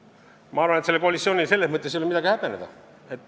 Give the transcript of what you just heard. Ma arvan, et sellel koalitsioonil ei ole midagi häbeneda.